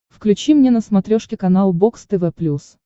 включи мне на смотрешке канал бокс тв плюс